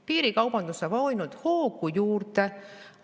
Piirikaubandus saab ainult hoogu juurde.